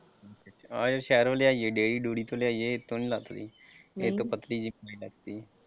ਆਹੋ ਸ਼ਹਿਰੋਂ ਲਿਆਈਏ ਡੇਅਰੀ ਡੁਅਰੀ ਚੋਂ ਲਿਆਈਏ ਉਹਦੇ ਚੋਂ ਨਹੀਂ ਲੱਥਦੀ ਇੱਕ .